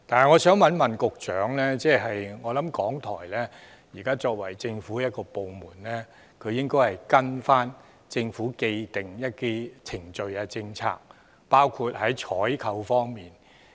我相信港台作為政府部門，應該依循政府既定的程序及政策，包括在採購方面。